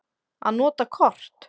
Að nota kort.